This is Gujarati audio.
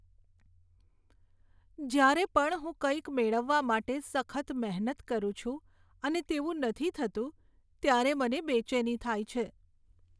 જ્યારે પણ હું કંઇક મેળવવા માટે સખત મહેનત કરું છું અને તેવું નથી થતું, ત્યારે મને બેચેની થાય છે.